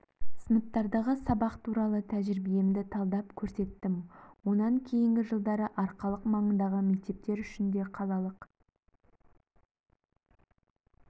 сыныптардағы сабақ туралы тәжірибемді талдап көрсеттім онан кейінгі жылдары арқалық маңындағы мектептер үшін де қалалық